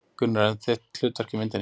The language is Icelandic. Gunnar: En þitt hlutverk í myndinni?